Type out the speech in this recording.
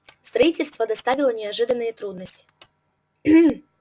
строительство доставило неожиданные трудности